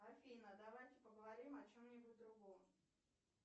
афина давайте поговорим о чем нибудь другом